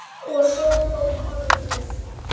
Og svo kom orðið